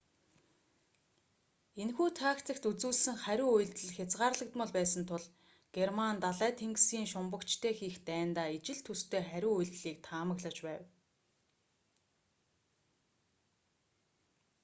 энэхүү тактикт үзүүлсэн хариу үйлдэл хязгаарлагдмал байсан тул герман далай тэнгисийн шумбагчтай хийх дайндаа ижил төстэй хариу үйлдлийг таамаглаж байв